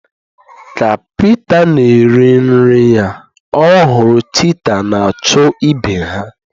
Ka Pita na-eri nri ya, ọ hụrụ cheetah na-achụ ibe ha